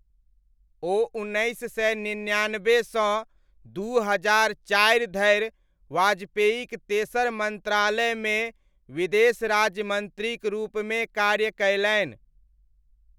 ओ उन्नैस सय निन्यानब्बे सँ दू हजार चारि धरि वाजपेयीक तेसर मन्त्रालयमे विदेश राज्य मन्त्रीक रूपमे कार्य कयलनि।